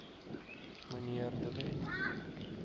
mnr de wet